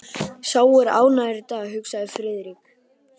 Sá er ánægður í dag, hugsaði Friðrik.